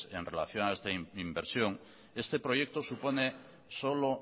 en relación a esta inversión este proyecto supone solo